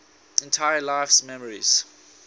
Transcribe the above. entire life's memories